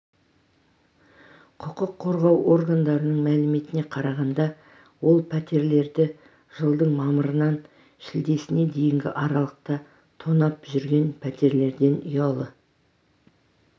құқық қорғау органдарының мәліметіне қарағанда ол пәтерлерді жылдың мамырынан шілдесіне дейінгі аралықта тонап жүрген пәтерлерден ұялы